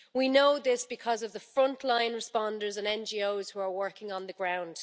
We know this because of the frontline responders and NGOs who are working on the ground.